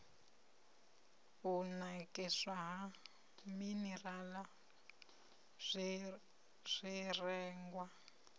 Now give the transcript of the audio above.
u nakiswa ha minirala zwirengwa